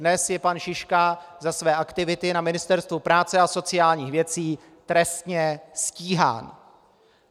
Dnes je pan Šiška za své aktivity na Ministerstvu práce a sociálních věcí trestně stíhán.